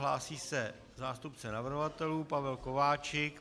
Hlásí se zástupce navrhovatelů Pavel Kováčik.